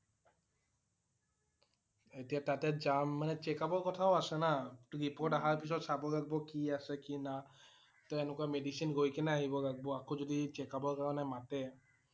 এতিয়া তাতে যাম মানে checkup ৰ কথাও আছে না। report অহাৰ পিছত চাব লাগিব কি কি আছে কি না toh এনেকুৱা medicine গৈ কিনে আহিব লাগিব । আকৌ যদি checkup ৰ কাৰণে মাতে